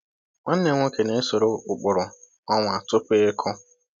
Nwanne m nwoke na-esoro ụkpụrụ ọnwa tupu ịkụ.